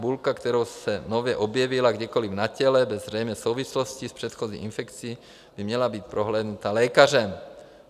Bulka, která se nově objevila kdekoli na těle bez zřejmé souvislosti s předchozí infekcí, by měla být prohlédnuta lékařem.